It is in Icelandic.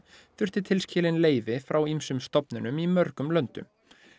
þurfti tilskilin leyfi frá ýmsum stofnunum í mörgum löndum